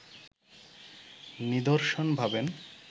নিদর্শন ভাবেন